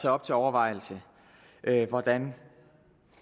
op til overvejelse hvordan